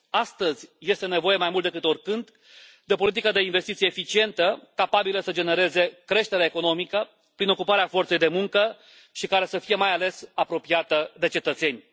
Astăzi este nevoie mai mult decât oricând de o politică de investiții eficientă, capabilă să genereze creștere economică prin ocuparea forței de muncă și care să fie, mai ales, apropiată de cetățeni.